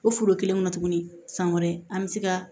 O foro kelen kɔnɔ tuguni san wɛrɛ an bɛ se ka